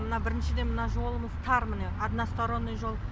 мына біріншіден мына жолымыз тар міне односторонний жол